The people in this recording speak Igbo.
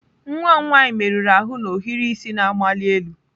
Nwa m nwanyị merụrụ ahụ na ohiri isi na-amali elu.